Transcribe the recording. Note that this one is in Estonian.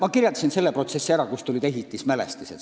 Ma kirjeldasin teile protsessi, kuidas tulid mängu ehitismälestised.